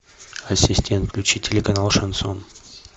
ассистент включи телеканал шансон